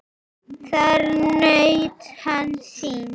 Þar naut hann sín.